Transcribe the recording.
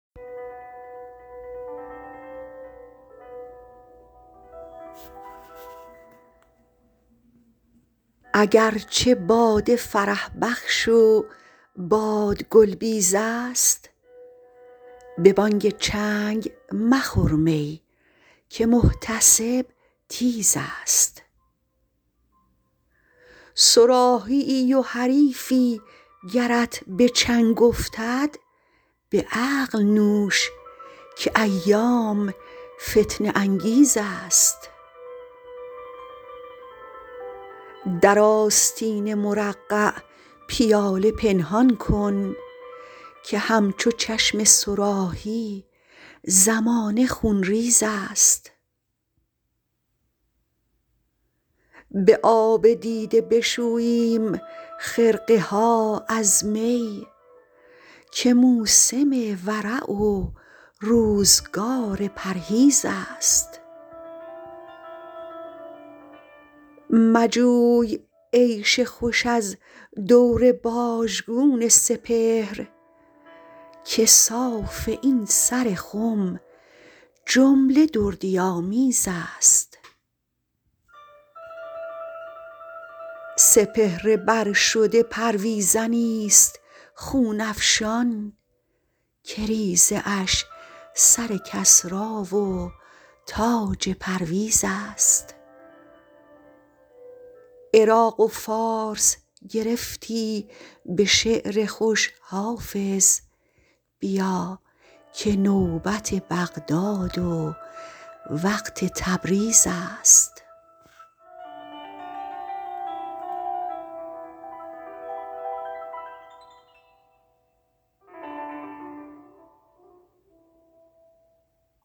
اگر چه باده فرح بخش و باد گل بیز است به بانگ چنگ مخور می که محتسب تیز است صراحی ای و حریفی گرت به چنگ افتد به عقل نوش که ایام فتنه انگیز است در آستین مرقع پیاله پنهان کن که همچو چشم صراحی زمانه خونریز است به آب دیده بشوییم خرقه ها از می که موسم ورع و روزگار پرهیز است مجوی عیش خوش از دور باژگون سپهر که صاف این سر خم جمله دردی آمیز است سپهر بر شده پرویزنی ست خون افشان که ریزه اش سر کسری و تاج پرویز است عراق و فارس گرفتی به شعر خوش حافظ بیا که نوبت بغداد و وقت تبریز است